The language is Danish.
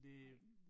Ej